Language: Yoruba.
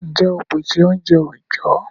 Ǹjẹ́ óò pèsè oúnjẹ òjó?